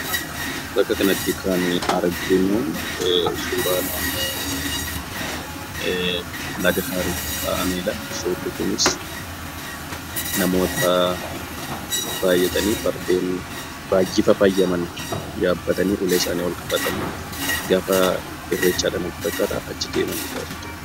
Bakka kana irratti kan arginu suura naannoo Laga haaritti ka'amedha. Suurrii Kunis namoota baay'atanii fardeen baay'ee fafaayyaman yaabbatanii ulee isaanii ol qabanii gara Irreechaa deemaanidha.